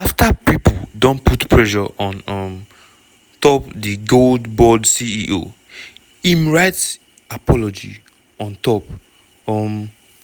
afta pipo don put pressure on um top di gold board ceo im write apology on top um